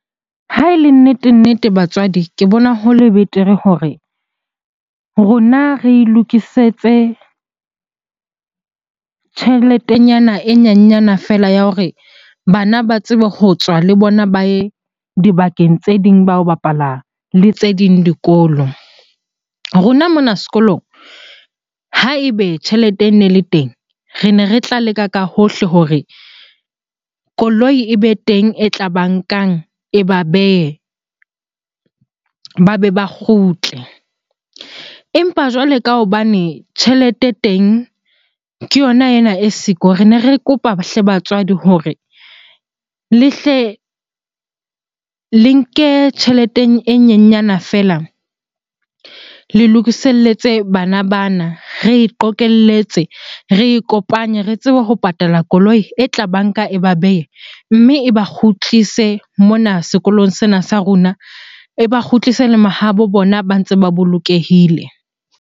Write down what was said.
Ha e le nnete-nnete batswadi, ke bona ho le betere hore rona re e lokisetse tjheletenyana e nyenyana feela ya hore bana ba tsebe ho tswa le bona ba ye dibakeng tse ding ba yo bapala le tse ding dikolo. Rona mona sekolong ha ebe tjhelete e ne le teng, rene re tla leka ka hohle hore koloi e be teng e tla ba nkang e ba behe, ba be ba kgutle. Empa jwale ka hobane tjhelete e teng ke yona ena e siko, rene re kopa hle batswadi hore le hle le nke tjheleteng e nyenyana feela le lokiselletse bana bana. Re e qokelletse, re ikopanye re tsebe ho patala koloi e tla ba nka e ba behe, mme e ba kgutlise mona sekolong sena sa rona. E ba kgutlise le mahabo bona ba ntse ba bolokehile.